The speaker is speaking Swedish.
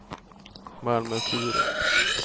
Malmö-Sturup